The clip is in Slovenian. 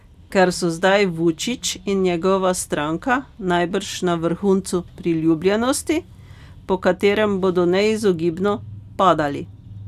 Ker so zdaj Vučić in njegova stranka najbrž na vrhuncu priljubljenosti, po katerem bodo neizogibno padali.